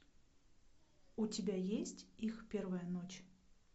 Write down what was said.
у тебя есть их первая ночь